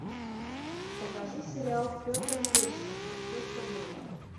покажи сериал петр лещенко все что было